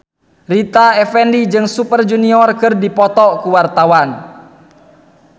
Rita Effendy jeung Super Junior keur dipoto ku wartawan